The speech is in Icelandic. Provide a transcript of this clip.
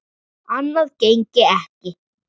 Annað gengi ekki.